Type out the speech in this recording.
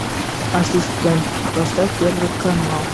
ассистент поставь первый канал